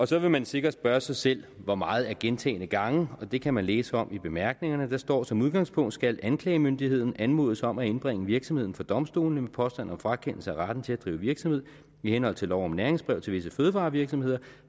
så vil man sikkert spørge sig selv hvor meget er gentagne gange det kan man læse om i bemærkningerne der står som udgangspunkt skal anklagemyndigheden anmodes om at indbringe virksomheden for domstolene med påstand om frakendelse af retten til at drive virksomhed i henhold til lov om næringsbrev til visse fødevarevirksomheder